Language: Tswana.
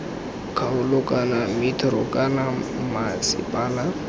kgaolo kana metro kana mmasepala